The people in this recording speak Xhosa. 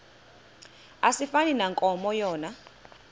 asifani nankomo yona